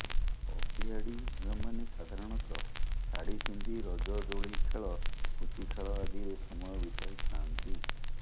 ଅଭିଆଡ଼ି ଝିଅମାନେସାଧାରଣତଃ ଶାଢ଼ୀ ପିନ୍ଧି ରଜ ଦୋଳି ଖେଳ ପୁଚି ଖେଳ ଆଦିରେ ସମୟ ବିତାଇ ଥାଆନ୍ତି